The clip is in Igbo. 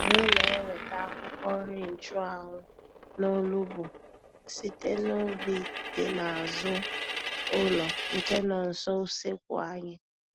Anyị na-enweta akwụkwọ nri nchụanwụ na olugbu site n'ubi dị n'azụ ụlọ, nke nọ nso useekwu anyị.